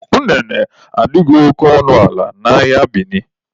Unene adịghị oke ọnụ ala n'ahịa Bini